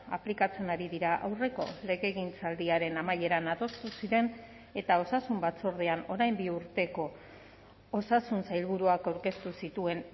aplikatzen ari dira aurreko legegintzaldiaren amaieran adostu ziren eta osasun batzordean orain bi urteko osasun sailburuak aurkeztu zituen